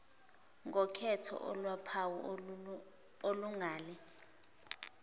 ngokhetho oluwuphawu olungale